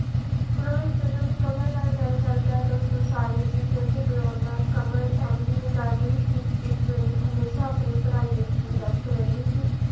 ਰੋਹਿਤ ਜਦੋਂ ਵੀ ਕਮਲ ਨਾਲ ਗੱਲ ਕਰਦਾ ਤਾਂ ਉਸਨੂੰ ਸਾਲੀ ਜੀ ਕਹਿ ਕੇ ਬੁਲਾਉਂਦਾ ਕਮਲ MBA ਕਰ ਰਹੀ ਸੀ ਇਸ ਲਈ ਹਮੇਸ਼ਾ ਆਪਣੀ ਪੜ੍ਹਾਈ ਵਿੱਚ ਹੀ ਵਿਅਸਤ ਰਹਿੰਦੀ ਸੀ।